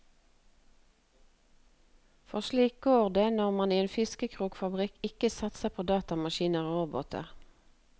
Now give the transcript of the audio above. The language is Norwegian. For slik går det når man i en fiskekrokfabrikk ikke satser på datamaskiner og roboter.